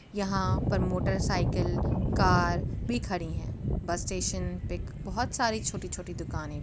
यहाँ पर motorcycle car भी खड़ी हैं। बस स्टेशन पे बहुत सारी छोटी-छोटी दुकाने --